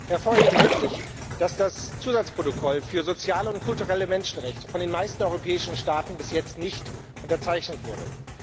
Hervorheben möchte ich, dass das Zusatzprotokoll für soziale und kulturelle Menschenrechte von den meisten der europäischen Staaten bis jetzt nicht unterzeichnet wurde.